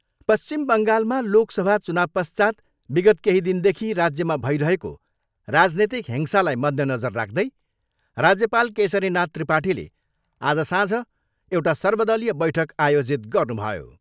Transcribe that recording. पश्चिम बङ्गालमा लोकसभा चुनावपश्चात् विगत केही दिनदेखि राज्यमा भइरहेको राजनीतिक हिंसालाई मध्यनजर राख्दै राज्यपाल केशरीनाथ त्रिपाठीले आज साँझ एउटा सर्वदलीय बैठक आयोजित गर्नुभयो।